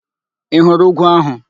Ị hụrụ úgwú ahụ?